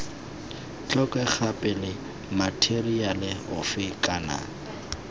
tlhokega pele matheriale ofe kana